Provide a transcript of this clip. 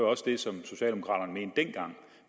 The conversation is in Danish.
også det som socialdemokraterne mente dengang